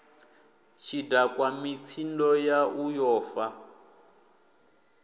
tshidakwa mitsindo yau yo fa